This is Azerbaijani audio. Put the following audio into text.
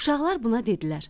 Uşaqlar buna dedilər: